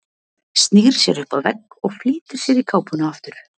Snýr sér upp að vegg og flýtir sér í kápuna aftur.